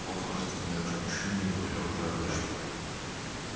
плохо же ты знаешь мужчин не говоря уже об эшли